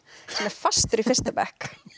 sem er fastur í fyrsta bekk